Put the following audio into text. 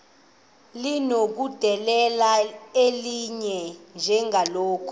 linokudedela elinye njengakule